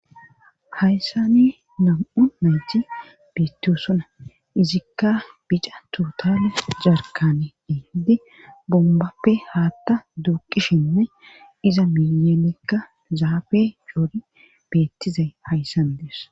Hayssani nam'u nayti betosonaa izikka bica tuutale jarkane diindi bombappe haatta duuqishinne iza miyelekka zaafe joori beettizay hayssani dees